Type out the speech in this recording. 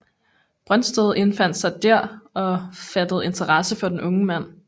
Brøndsted indfandt sig der og fattede interesse for den unge mand